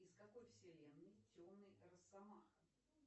из какой вселенной темный росомаха